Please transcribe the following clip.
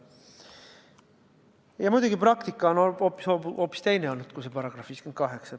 Ja praktika on hoopis teine olnud, kui see § 58.